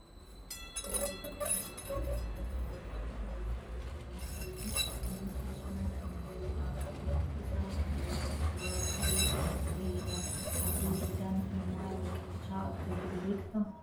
Harree didaan gosoota bineensota bosonaa keessaa tokko kan tahee fi innis bosona kan galuu dha. Bifti isaas buraa burree kan tahee dha. Harree didaan kun maal baqachaa akka jiru beektaa?